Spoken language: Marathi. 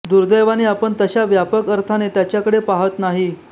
दुर्दैवाने आपण तशा व्यापक अर्थाने त्याच्याकडे पाहत नाही